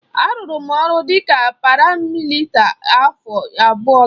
A rụrụ m ọrụ dika paramịlitrị afọ abụọ gara aga.